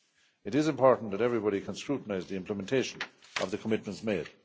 It is important that everybody can scrutinise the implementation of the commitments made.